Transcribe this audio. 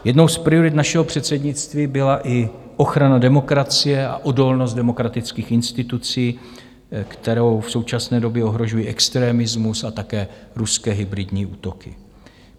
Jednou z priorit našeho předsednictví byla i ochrana demokracie a odolnost demokratických institucí, kterou v současné době ohrožuje extremismus a také ruské hybridní útoky.